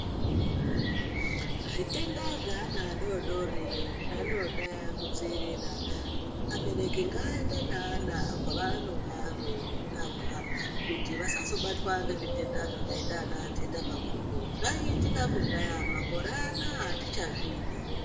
Zvitenda zveana adodori zvinoda kudziirira abebereki ngaaende neana kwaanenga eirapwa kuti vasazobatwa ngezvitenda zvakaita anandeta makumbo zvaiitika kudhaya makore anaya atichazvidi.